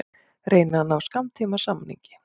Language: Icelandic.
Reyna að ná skammtímasamningi